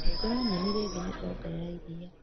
Hingũra nyeni rĩngĩ nĩndĩraongerera iria.